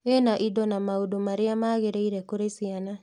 Ina indo na maũndũ marĩa magĩrĩire kũrĩ ciana